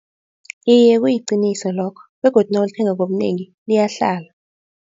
Iye kuyiqiniso lokho begodu nawulithenga ngobunengi liyahlala.